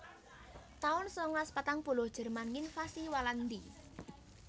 taun sangalas patang puluh Jerman nginvasi Walandi